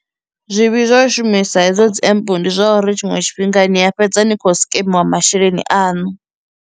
Zwivhi zwo shumisa hedzo dzi empe ndi zwa uri tshiṅwe tshifhinga ni a fhedza ni khou sikemiwa masheleni aṋu.